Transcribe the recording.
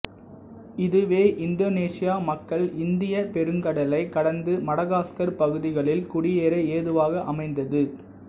இதுவே இந்தொனேசிய மக்கள் இந்திய பெருங்கடலைக் கடந்து மடகாஸ்கர் பகுதிகளில் குடியேற ஏதுவாக அமைந்தது